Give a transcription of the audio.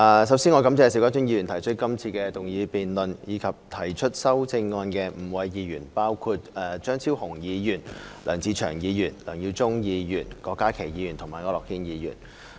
首先，我感謝邵家臻議員提出這項議案，亦感謝提出修正案的5位議員，包括張超雄議員、梁志祥議員、梁耀忠議員、郭家麒議員和區諾軒議員。